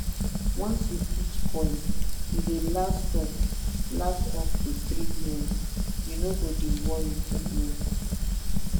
once you put coil e dey last up last up to 3yrs you no go dey worry for years